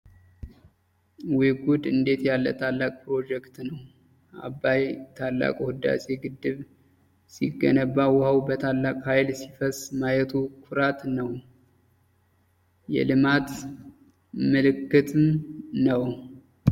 ወይ ጉድ! እንዴት ያለ ታላቅ ፕሮጀክት ነው! *አባይ* ታላቁ ህዳሴ ግድብ ሲገነባ ውኃው በታላቅ ኃይል ሲፈስ ማየቱ ኩራት ነው ።የልማት ምልክት!